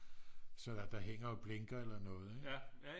sådan at der hænger og blinker eller noget ik